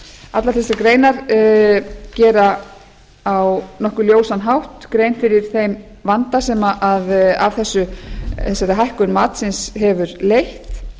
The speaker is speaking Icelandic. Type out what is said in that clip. allar þessar greinar gera á nokkuð ljósan hátt grein fyrir þeim vanda sem af þessari hækkun matsins hefur leitt